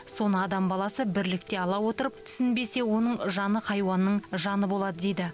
соны адам баласы бірлікте ала отырып түсінбесе оның жаны хайуанның жаны болады дейді